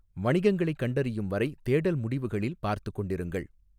வணிகங்களைக் கண்டறியும் வரை தேடல் முடிவுகளில் பார்த்துக் கொண்டிருங்கள்.